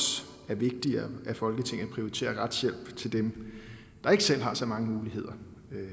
er vigtigere at folketinget prioriterer retshjælp til dem der ikke selv har så mange muligheder